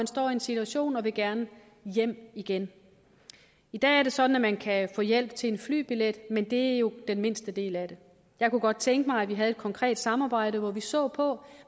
stå i en situation hvor de gerne vil hjem igen i dag er det sådan at man kan få hjælp til en flybillet men det er jo den mindste del af det jeg kunne godt tænke mig at vi havde et konkret samarbejde hvor vi så på